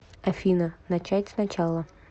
афина начать с начала